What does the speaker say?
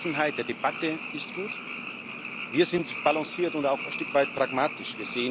Die Offenheit der Debatte ist gut, wir sind balanciert und auch ein Stück weit pragmatisch.